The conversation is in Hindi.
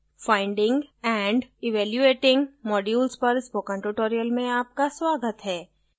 finding and evaluating modules पर spoken tutorial में आपका स्वागत है